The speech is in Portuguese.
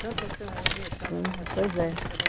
Canto orfeônico, eu vi a senhora, ela estava cantando. Hum, pois é